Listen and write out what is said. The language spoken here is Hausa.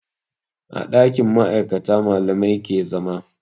A ɗakin ma'aikata malamai ke zama